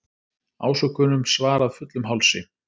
Ásökunum svarað fullum hálsi